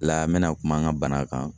La mena kuma an ka bana kan